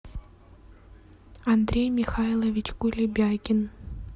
андрей михайлович кулебякин